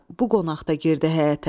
Bu qonaq da girdi həyətə.